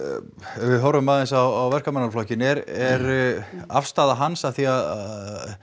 ef við horfum aðeins á Verkamannaflokkinn er er afstaða hans af því að